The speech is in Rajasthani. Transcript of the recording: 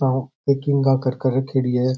कर कर रखेडी है।